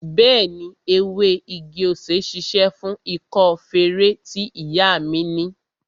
Bẹẹni, ewé igi-osè ṣíṣe fún ikọ́ feré tí ìyá mi ni